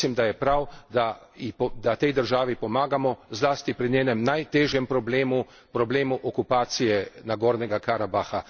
Mislim, da je prav, da tej državi pomagamo, zlasti pri njenem najtežjem problemu, problemu okupacije Gorskega Karabaha.